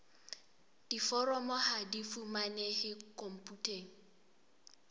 diforomo ha di fumanehe khomputeng